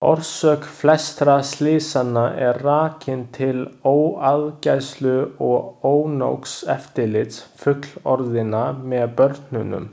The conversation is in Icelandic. Orsök flestra slysanna er rakin til óaðgæslu og ónógs eftirlits fullorðinna með börnunum.